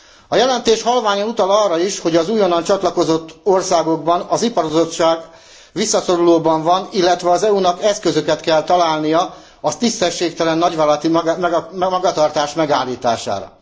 A jelentés halványan utal arra is, hogy az újonnan csatlakozott országokban az ipar visszaszorulóban van, illetve az EU nak eszközöket kell találnia a tisztességtelen nagyvállalati magatartás megállítására.